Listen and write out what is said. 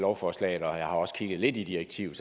lovforslaget og jeg har også kigget lidt i direktivet